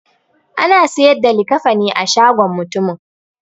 Ana siyar da likafani a shagon mutumin.